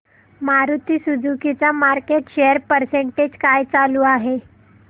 Maruti Suzuki चा market share percentage काय चालू आहे